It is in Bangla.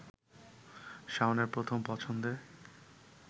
শাওনের প্রথম পছন্দে